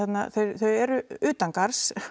þau eru utangarðs